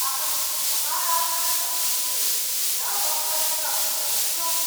अहं महाराष्ट्रसंस्कृतिं न बह्वधिकं परिचिनोमि।